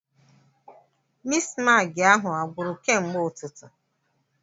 Mistmaagị ahụ a gwụru kemgbe ụtụtụ?